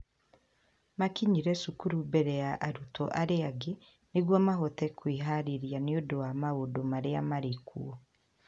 Maakinyire cukuru mbere ya arutwo arĩa angĩ nĩguo mahote kwĩhaarĩria nĩ ũndũ wa maũndũ marĩa maarĩ kuo.